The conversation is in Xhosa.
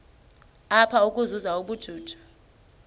apha ukuzuza ubujuju